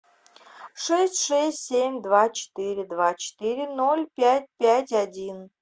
шесть шесть семь два четыре два четыре ноль пять пять один